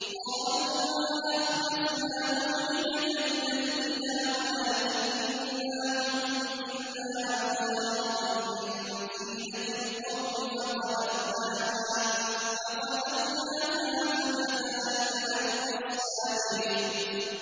قَالُوا مَا أَخْلَفْنَا مَوْعِدَكَ بِمَلْكِنَا وَلَٰكِنَّا حُمِّلْنَا أَوْزَارًا مِّن زِينَةِ الْقَوْمِ فَقَذَفْنَاهَا فَكَذَٰلِكَ أَلْقَى السَّامِرِيُّ